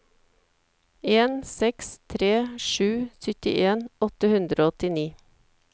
en seks tre sju syttien åtte hundre og åttini